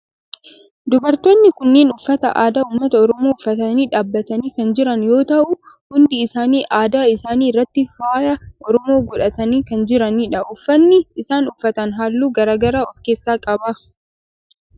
Dubartoonni kunneen uffata aadaa ummata oromoo uffatanii dhaabbatanii kan jiran yoo ta'u hundi isaanii adda isaanii irratti faaya oromoo godhatanii kan jiranidha. Uffanni isaan uffatan halluu garaa garaa of keessaa qaba.